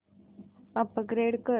upgrade कर